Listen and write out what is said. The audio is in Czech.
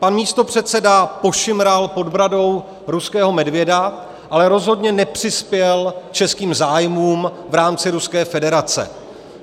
Pan místopředseda pošimral pod bradou ruského medvěda, ale rozhodně nepřispěl českým zájmům v rámci Ruské federace.